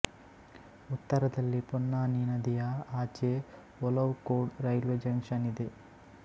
ಉತ್ತರದಲ್ಲಿ ಪೊನ್ನಾನಿ ನದಿಯ ಆಚೆ ಒಲವಕೋಡ್ ರೈಲ್ವೇ ಜಂಕ್ಷನ್ ಇದೆ